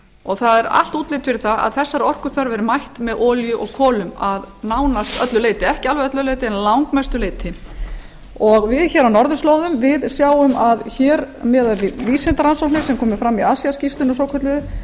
og það er allt útlit fyrir það að þessari orkuþörf verði mætt með olíu og kolum að nánast öllu leyti ekki alveg öllu leyti en að langmestu leyti við hér á norðurslóðum sjáum að hér miðað við vísindarannsóknir sem komu fram í asíu skýrslunni svokölluðu